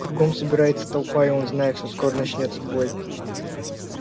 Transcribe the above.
кругом собирается толпа и он знает что скоро начнётся бой